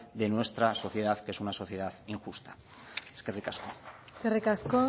de nuestra sociedad que es una sociedad injusta eskerrik asko eskerrik asko